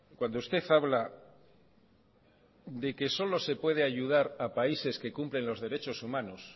cuando usted habla de que solo se puede ayudar a países que cumplen los derecho humanos